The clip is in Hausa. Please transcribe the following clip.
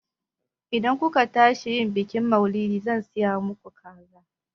Idan ku ka tashi yin bikin maulidi, zan siya maku kaza